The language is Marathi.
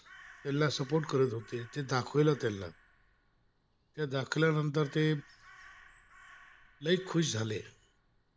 ला सपोर्ट करत होत ते दाखवील त्यांना दाखल्यानंतर ते लई खुश झाले